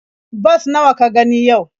Bas nawa ka gani yau?